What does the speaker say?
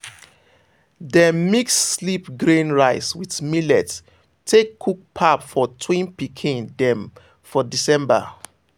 dem mix sleep grain rice with millet take cook pap for twin pikin dem for december.